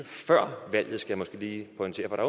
før valget skal jeg måske lige pointere for der